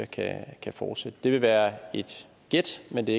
kan fortsætte det vil være et gæt men det